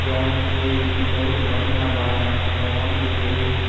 जउन की बहुत बढ़िया बा इहाँ जउन भी होई --